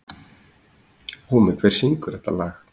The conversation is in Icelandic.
Húmi, hver syngur þetta lag?